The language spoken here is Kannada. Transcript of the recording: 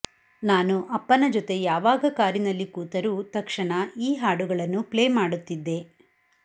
ನಾನು ಅಪ್ಪನ ಜತೆ ಯಾವಾಗ ಕಾರಿನಲ್ಲಿ ಕೂತರೂ ತಕ್ಷಣ ಈ ಹಾಡುಗಳನ್ನು ಪ್ಲೇ ಮಾಡುತ್ತಿದ್ದೆ